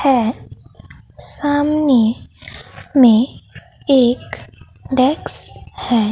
है सामने में एक डेस्क है।